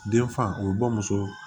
Den fa o ye bɔ muso